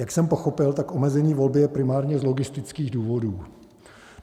Jak jsem pochopil, tak omezení volby je primárně z logistických důvodů.